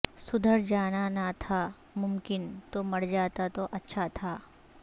سدھر جانا نہ تھا ممکن تو مرجاتا تو اچھا تھا